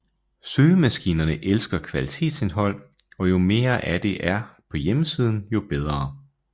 Søgemaskinerne elsker kvalitetsindhold og jo mere af det er der på hjemmesiden jo bedre